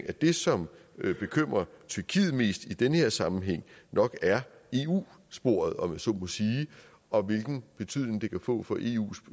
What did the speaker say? at det som bekymrer tyrkiet mest i den her sammenhæng nok er eu sporet om man så må sige og hvilken betydning det kan få for eus